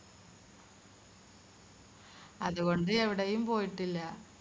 അതുകൊണ്ട് എവിടെയും പോയിട്ടില്ല